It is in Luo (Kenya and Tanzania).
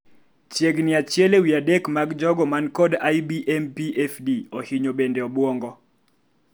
chiegni achiel ewi adek mag jogo man kod IBMPFD ohinyo bende obuongo